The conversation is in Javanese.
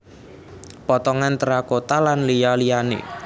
Potongan terakota lan liya liyane